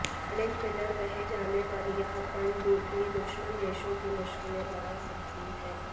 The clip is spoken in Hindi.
साइलेंट कीलर कहे जाने वाली यह पनडुब्बी दुश्मन देशों की मुश्किलें बढ़ा सकती है